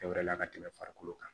Fɛn wɛrɛ la ka tɛmɛ farikolo kan